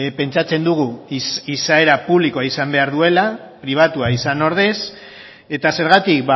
pentsatzen dugu izaera publikoa izan behar duela pribatua izan ordez eta zergatik